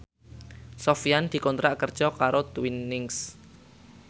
Sofyan dikontrak kerja karo Twinings